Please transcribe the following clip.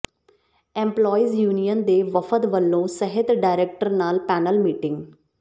employees union ਦੇ ਵਫਦ ਵੱਲੋਂ ਸਿਹਤ ਡਾਇਰੈਕਟਰ ਨਾਲ ਪੈਨਲ ਮੀਟਿੰਗ